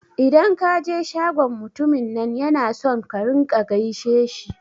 Idan ka je shagon mutumin nan yana son ka rinƙa gaishe shi